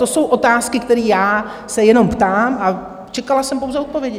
To jsou otázky, které já se jenom ptám, a čekala jsem pouze odpovědi.